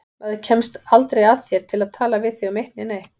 Maður kemst aldrei að þér til að tala við þig um eitt né neitt.